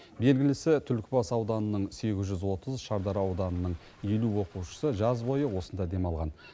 белгілісі түлкібас ауданының сегіз жүз отыз шардара ауданының елу оқушысы жаз бойы осында демалған